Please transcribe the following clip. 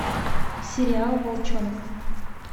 сериал волчонок